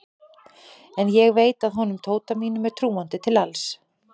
En ég veit að honum Tóta mínum er trúandi til alls.